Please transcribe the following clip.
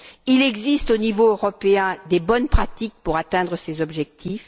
Il existe, au niveau européen, de bonnes pratiques pour atteindre ces objectifs.